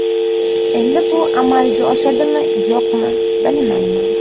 Endi bu amalga oshadimi yo‘qmi, bilmayman.